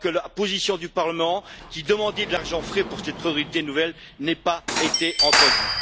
que la position du Parlement, qui demandait de l'argent frais pour cette priorité nouvelle, n'ait pas été entendue.